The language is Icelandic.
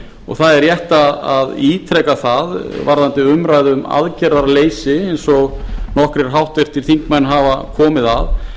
og það er rétt að ítreka það varðandi umræðu um aðgerðaleysi eins og nokkrir háttvirtir þingmenn hafa komið